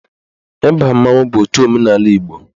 Ịba mmanwụ bụ otu omenaala Igbo